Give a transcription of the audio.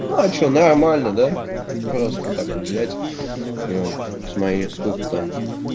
ну а что нормально да просто так взять вот и он с моей сколько там